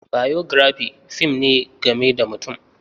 Biography fim ne game da mutum.